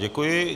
Děkuji.